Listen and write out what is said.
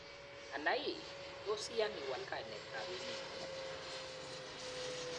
Ana ii, toos iyan iwal kainetab emeng'ung?